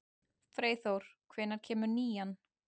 Freyþór, hvenær kemur nían?